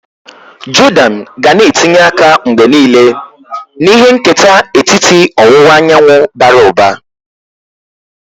Jordan ga na etinye aka mgbe niile na ihe nketa etiti ọwụwa anyanwụ bara ụba.